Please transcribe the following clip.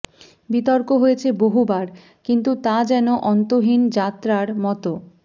বিতর্ক হয়েছে বহুবার কিন্তু তা যেন অন্তহীন যাত্রার মতো